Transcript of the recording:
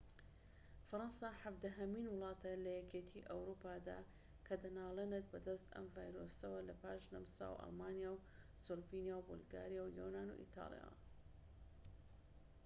فەرەنسا حەڤدەهەمین وڵاتە لە یەکێتی ئەوروپادا کە دەنالێنێت بەدەست ئەم ڤایرۆسەوە لە پاش نەمسا و ئەڵمانیا و سلۆڤینیا و بولگاریا و یۆنان و ئیتالیاوە